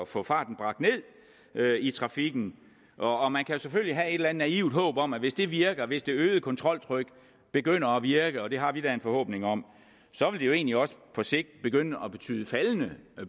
få farten bragt ned i trafikken og og man kan selvfølgelig have et eller andet naivt håb om at hvis det virker altså hvis det øgede kontroltryk begynder at virke og det har vi da en forhåbning om så vil det jo egentlig også på sigt begynde at betyde faldende